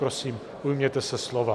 Prosím, ujměte se slova.